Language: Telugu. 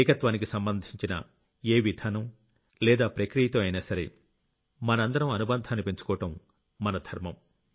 ఏకత్వానికి సంబంధించిన ఏ విధానం లేదా ప్రక్రియతో అయినా సరే మనందరం అనుబంధాన్ని పెంచుకోవడం మన ధర్మం